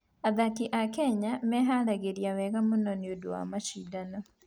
Athaki a Kenya meharagĩria wega mũno nĩ ũndũ wa macindano.